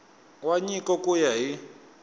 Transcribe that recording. wa nyiko ku ya hi